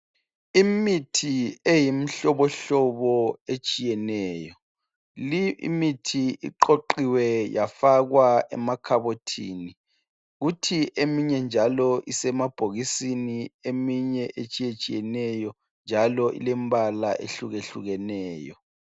Imithi eyimihlobohlobo etshiyeneyo limithi eqoqiwe yafakwa emakhabothini kuthi eminye njalo isemabhokisini eminye etshiyetshiyeneyo njalo ilembala ehlukehlukeneyo.